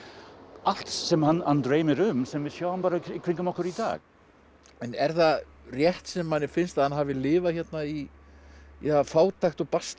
allt sem hann dreymir um sem við sjáum í kringum okkur í dag en er það rétt sem manni finnst að hann hafi lifað hérna í fátækt og basli